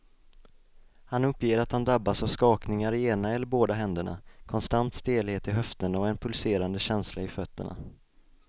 Han uppger att han drabbas av skakningar i ena eller båda händerna, konstant stelhet i höfterna och en pulserande känsla i fötterna.